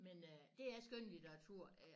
Men øh det er skønlitteratur øh